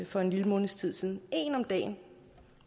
for en lille måneds tid siden en om dagen